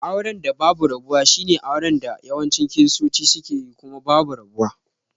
Auren da babu rabuwa shine auren da yawancin kiristoti sukeyi kuma babu rabuwa.